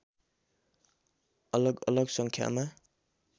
अलगअलग सङ्ख्यामा